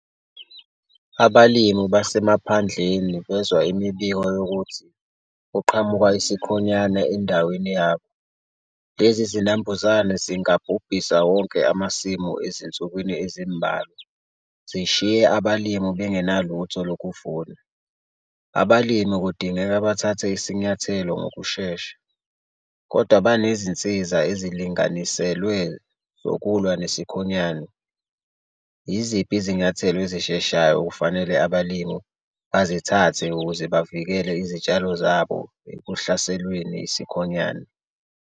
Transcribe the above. Abalimu basemaphandleni bezwa imibiko yokuthi kuqhamuka isikhonyane endaweni yabo. Lezi zinambuzane zingabhubhisa wonke amasimu ezinsukwini ezimbalwa. Zishiywe abalimu bengenalutho ukuthi lokuvuna. Abalimi kudingeka bathathe isinyathelo ngokushesha kodwa banezinsiza ezilinganiselwe zokulwa nesikhonyane. Yiziphi izinyathelo ezisheshayo kufanele abalimi bazithathe ukuze bavikele izitshalo zabo ekuhlaselweni isikhonyane?